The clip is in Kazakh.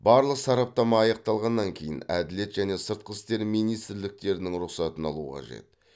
барлық сараптама аяқталғаннан кейін әділет және сыртқы істер министрліктерінің рұқсатын алу қажет